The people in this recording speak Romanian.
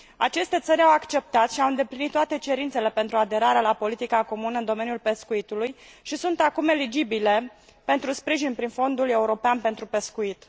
Aceste țări au acceptat și au îndeplinit toate cerințele pentru aderarea la politica comună în domeniul pescuitului și sunt acum eligibile pentru sprijin prin Fondul European pentru Pescuit.